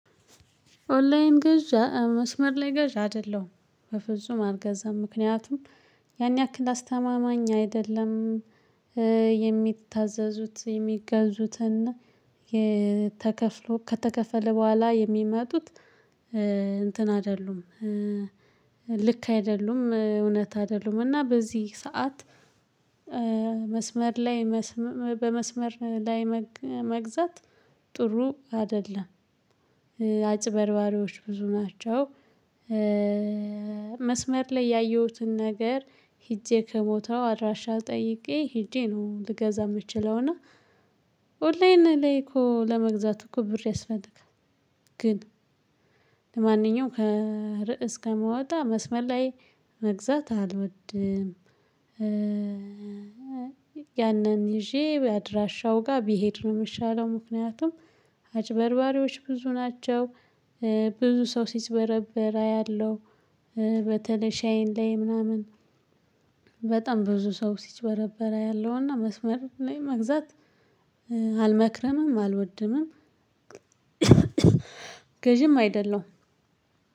ኦንላይን ገዢ መስመር ላይ ገዢ አይደለሁም በፍጹም አልገዛም ምክንያቱም ያን ያክል አስተማማኝ አይደለም። የሚታዘዙት የሚገዙትና ተከፍሎ ከተከፈለ በኋላ የሚመጡት እንትን አይደሉም። ልክ አይደሉም እውነት አይደሉም እና በዚህ ሰዓት። መስመር ላይ በመስመር ላይ መግዛት ጥሩ አይደለም። አጭበርባሪዎች ብዙ ናቸው። መስመር ላይ ያየሁትን ነገር ሂጄ ከቦታው አድራሻ ጠይቄ ሂጄ ነው ልገዛ የምችለውና። ኦንላይን ላይ እኮ ለመግዛት እኮ ብር ያስፈልጋል። ግን ለማንኛውም ከርዕስ ከምወጣ መስመር ላይ መግዛት አልወድም። ያንን ይዤ በአድራሻው ጋር ቢሄድ ነው የሚሻለው። ምክንያቱም አጭበርባሪዎች ብዙ ናቸው። ብዙ ሰው ሲጭበረበር አያለሁ። በተለይ ሻይን ላይ ምናምን። በጣም ብዙ ሰው ሲጭበረበር አያለሁ እና መስመር ላይ መግዛት አልመክረምም አልወድምም። ገዢም አይደለሁም።